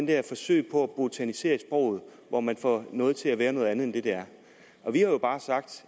der forsøg på at botanisere i sproget hvor man får noget til at være noget andet end det det er vi har jo bare sagt